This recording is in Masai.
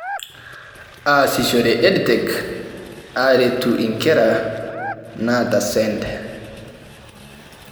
Aasishore EdTech aaretu inkera naata SEND